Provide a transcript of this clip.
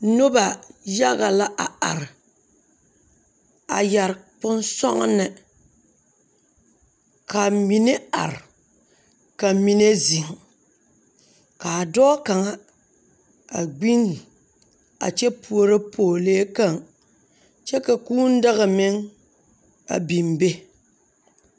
Noba yaga la a are, a yare bonsɔgene, ka mine ar, ka mine zeŋ kaa dɔɔ kaŋa a gbinni a kyɛ puoro pɔgelee kaŋ kyɛ ka kūū daga meŋ a bembe.